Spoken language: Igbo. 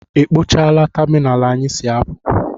E kpochaala tamịnalụ anyị si apụ?